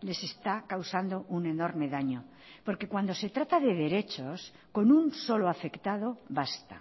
les está causando un enorme daño porque cuando se trata de derechos con un solo afectado basta